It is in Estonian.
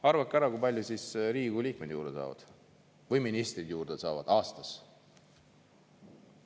Arvake ära, kui palju Riigikogu liikmeid juurde saavad või ministrid juurde saavad aastas.